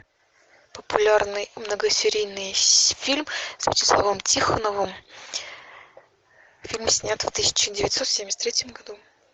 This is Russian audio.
популярный многосерийный фильм с вячеславом тихоновым фильм снят в тысяча девятьсот семьдесят третьем году